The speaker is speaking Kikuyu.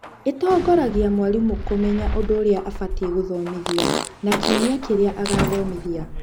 ĩtongoragia mwarimũ kũmenya ũndũ ũria abatie gũthomithia na kiumia kĩria agathomithia